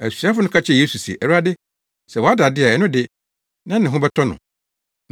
Asuafo no ka kyerɛɛ Yesu se, “Awurade, sɛ wada de a ɛno de, na ne ho bɛtɔ no.”